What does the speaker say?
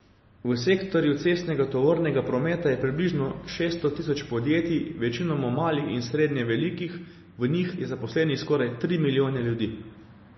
V sektorju cestnega tovornega prometa je približno šeststo tisoč podjetij, večinoma malih in srednje velikih, v njih je zaposlenih skoraj tri milijone ljudi.